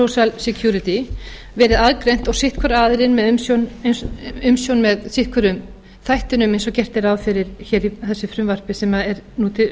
hefur verið kallað social security verið aðgreint og sinn hvor aðilinn með umsjón með sitt hvorum þættinum eins og gert er ráð fyrir hér í þessu frumvarpi sem er nú